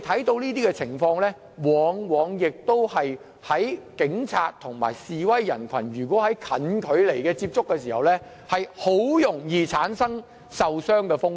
這些情況往往是在警察與示威人群近距離接觸時發生，很容易造成受傷風險。